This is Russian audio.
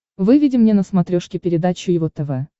выведи мне на смотрешке передачу его тв